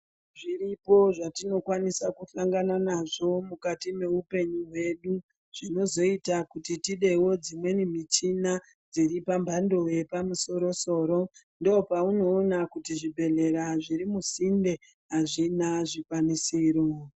Zviripo zvatinokwanisa kuhlangana nazvo mukati meupenyu hwedu, zvinozoyita kuti tidewo dzimweni michina dziri dzepambando yepamusoro-soro, ndopaunoona kuti zvibhedhlera zviri musinde azvina zvikwanisiro.